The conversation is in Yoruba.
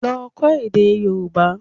Lọ kọ́ èdè Yorùbá